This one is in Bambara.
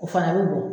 O fana bɛ bo